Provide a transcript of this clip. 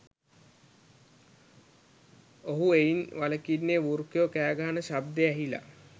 ඔහු එයින් වලකින්නේ වෘකයෝ කෑගහන ශබ්දය ඇහිලා